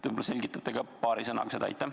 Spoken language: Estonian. Võib-olla selgitate paari sõnaga?